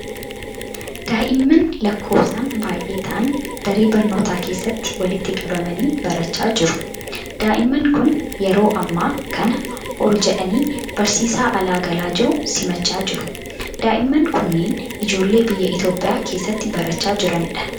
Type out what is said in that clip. Daa'imman lakkoofsaan baay'ee ta'an daree barnootaa keessatti walitti qabamanii barachaa jiru. Daa'imman kun ,yeroo ammaa kana ol jedhanii barsiisaa alaa galaa jiru simachaa jiru. Daa'imman kunneen ijoollee biyya Itoophiyaa keessatti barachaa jiranii dha.